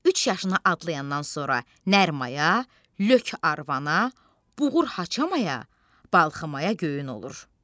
Üç yaşını adlayandan sonra nər mayaya, lök arvana, buğur haçamaya, balxımaya göyün olur.